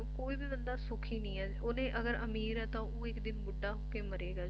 ਕੋਈ ਵੀ ਬੰਦਾ ਸੁਖੀ ਨਹੀਂ ਏ ਓਹਨੇ ਅਗਰ ਅਮੀਰ ਆ ਤਾਂ ਉਹ ਇੱਕ ਦਿਨ ਬੁੱਢਾ ਹੋਕੇ ਮਰੇਗਾ